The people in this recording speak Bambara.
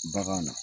Bagan na